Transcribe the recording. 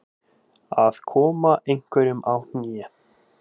Að koma einhverjum á kné